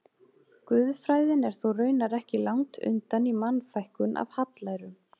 Guðfræðin er þó raunar ekki langt undan í Mannfækkun af hallærum.